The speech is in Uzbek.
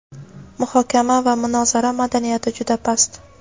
Muhokama va munozara madaniyati juda past.